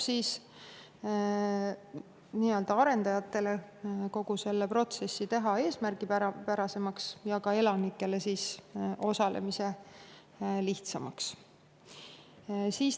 See aitab arendajatel teha kogu protsessi eesmärgipärasemaks ja ka elanikel osalemise lihtsamaks.